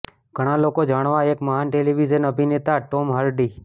ઘણા લોકો જાણવા એક મહાન ટેલિવિઝન અભિનેતા ટોમ હાર્ડી